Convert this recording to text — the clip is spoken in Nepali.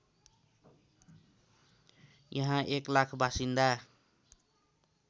यहाँ १००००० बासिन्दा